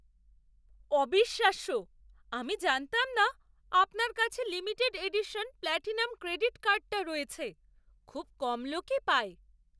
অবিশ্বাস্য! আমি জানতাম না আপনার কাছে লিমিটেড এডিশন প্ল্যাটিনাম ক্রেডিট কার্ডটা রয়েছে। খুব কম লোকই পায়।